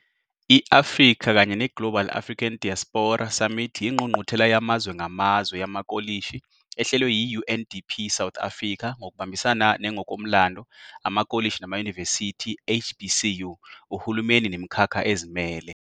I - Africa kanye neGlobal African Diaspora Summit yiNgqungquthela Yamazwe Ngamazwe yamaKolishi ehlelwe yi UNDP South Africa ngokubambisana ne Ngokomlando amakolishi namayunivesithi, HBCU, uhulumeni nemikhakha ezimele.